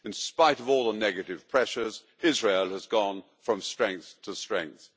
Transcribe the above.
In spite of all the negative pressures, Israel has gone from strength to strength.